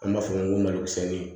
An b'a fɔ ko malo sɛnɛ